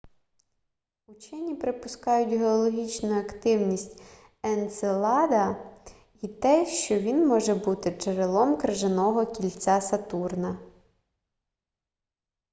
учені припускають геологічну активність енцелада й те що він може бути джерелом крижаного кільця сатурна